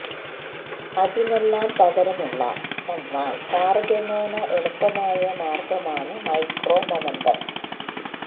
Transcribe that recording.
അതിനെല്ലാം പകരമുള്ള എന്നാല് താരതമ്യേന എളുപ്പമായ മാര്ഗ്ഗമാണ് മൈക്രോ മൊമന്റ്സ്